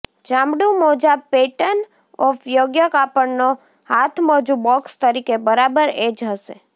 ચામડું મોજા pattern of યોગ્ય કાપડનો હાથમોજું બોક્સ તરીકે બરાબર એ જ હશે